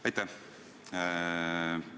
Aitäh!